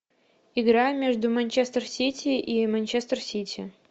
игра между манчестер сити и манчестер сити